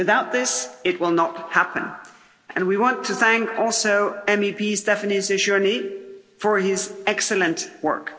Without this, it will not happen, and we want to thank also MEP Stéphane Séjourné for his excellent work.